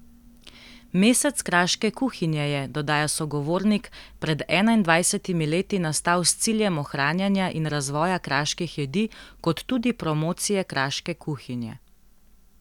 Mesec kraške kuhinje je, dodaja sogovornik, pred enaindvajsetimi leti nastal s ciljem ohranjanja in razvoja kraških jedi kot tudi promocije kraške kuhinje.